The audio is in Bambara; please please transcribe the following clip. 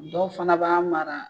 Dɔw fana b'a mara